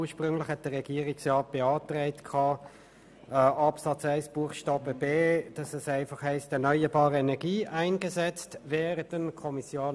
Ursprünglich hatte der Regierungsrat bei Absatz 1 Buchstabe b die Formulierung «erneuerbare Energie eingesetzt werden.» beantragt.